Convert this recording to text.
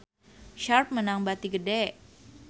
Sharp meunang bati gede